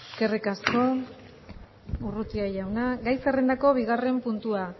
eskerrik asko urrutia jauna gai zerrendako bigarren puntua